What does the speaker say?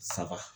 Saba